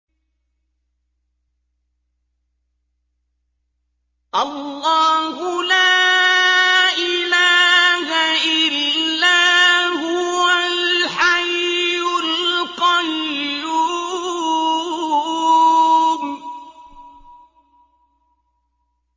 اللَّهُ لَا إِلَٰهَ إِلَّا هُوَ الْحَيُّ الْقَيُّومُ